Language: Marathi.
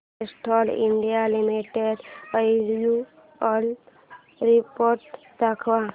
Castrol India limited annual report दाखव